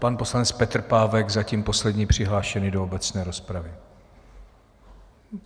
Pan poslanec Petr Pávek, zatím poslední přihlášený do obecné rozpravy.